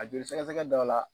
A joli sɛgɛsɛgɛ dɔ la.